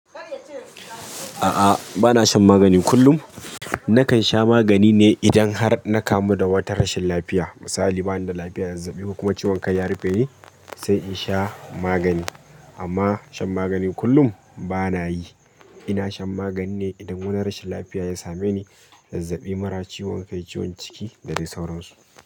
A'a, ba na shan magani kullum. Nakan sha magani ne idan har na kamu da wata rashin lafiya. Misali bani da lafiya da zazzabi kuma ciwon kai ya rufe ni sai in sha magani. Amma shan magani kullum ba na yi. Ina shan magani ne idan wani rashin lafiya ya same ni, zazzabi mara ciwon kai, ciwon ciki da dai sauran su.